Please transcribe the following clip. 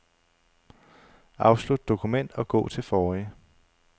Afslut dokument og gå til forrige.